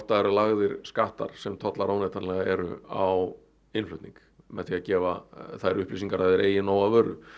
það eru lagðir skattar sem tollar óneitanlega eru á innflutning með því að gefa þær upplýsingar að þeir eigi nóg af vöru